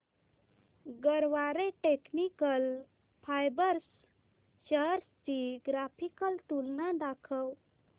Garware technical fibres shares ची graphical तुलना दाखव